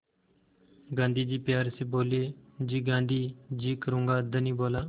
गाँधी जी प्यार से बोले जी गाँधी जी करूँगा धनी बोला